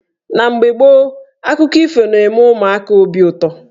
Na mgbe gboo, akụkọ ifo na-eme ụmụaka obi ụtọ.